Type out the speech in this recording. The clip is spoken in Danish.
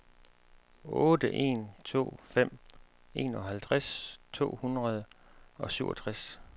otte en to fem enoghalvtreds to hundrede og syvogtres